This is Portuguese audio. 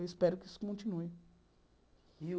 Eu espero que isso continue.